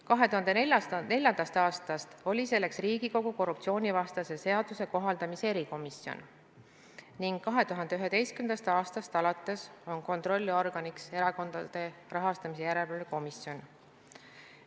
2004. aastast oli selleks Riigikogu korruptsioonivastase seaduse kohaldamise erikomisjon ning 2011. aastast alates on kontrollorganiks Erakondade Rahastamise Järelevalve Komisjon.